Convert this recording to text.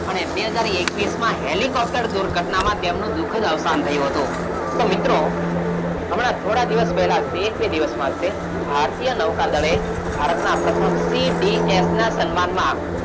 અને બે હજાર એકવીશમાં helicopter દુર્ઘટનામાં તેમનું દુખદ અવસાન થયું હતું. તો મિત્રો, હમણાં થોડા દિવસ પહેલા એક - બે દિવસમાં હશે ભારતીય નૌકાદળે ભારતનાં પ્રથમ C. D. F ના સન્માનમાં,